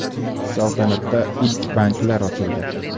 Saltanatda ilk banklar ochildi.